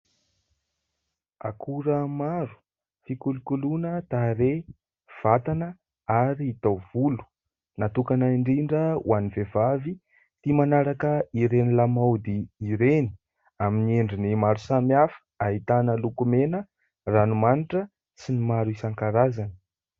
Akora maro fikolokoloina tareha, vatana ary taovolo ; natokana indrindra ho an'ny vehivavy tia manaraka ireny lamaody ireny. Amin'ny endriny maro samihafa ahitana lokomena ranomanitra sy ny maro isan-karazany.